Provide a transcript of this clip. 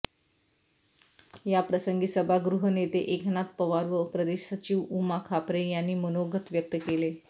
या प्रसंगी सभागृह नेते एकनाथ पवार व प्रदेश सचिव उमा खापरे यांनी मनोगत व्यक्त केले